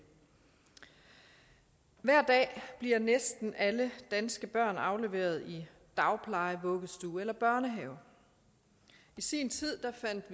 hver dag bliver næsten alle danske børn afleveret i dagpleje vuggestue eller børnehave i sin tid fandt